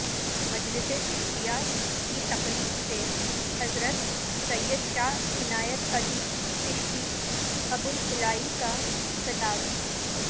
مجلس چشتیہ کی تقریب سے حضرت سید شاہ عنایت علی چشتی ابوالعلائی کا خطاب